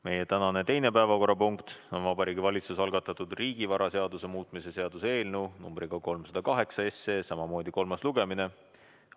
Meie tänane teine päevakorrapunkt on Vabariigi Valitsuse algatatud riigivaraseaduse muutmise seaduse eelnõu 308 kolmas lugemine.